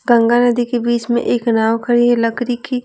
गंगा नदी के बीच में एक नाव खड़ी है लकड़ी की।